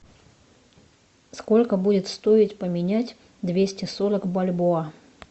сколько будет стоить поменять двести сорок бальбоа